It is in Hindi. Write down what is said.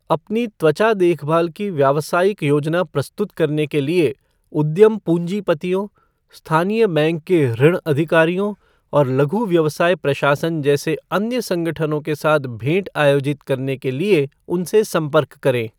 अपनी त्वचा देखभाल की व्यावसायिक योजना प्रस्तुत करने के लिए उद्यम पूंजीपतियों, स्थानीय बैंक के ऋण अधिकारियों और लघु व्यवसाय प्रशासन जैसे अन्य संगठनों के साथ भेंट आयोजित करने के लिए उनसे संपर्क करें।